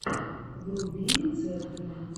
вруби рецепты